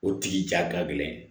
O tigi ja ta gɛlɛn